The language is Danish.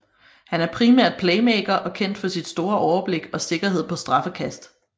Han er primært playmaker og kendt for sit store overblik og sikkerhed på straffekast